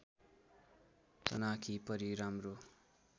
चनाखी परी राम्रो